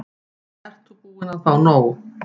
Ert þú búin að fá nóg?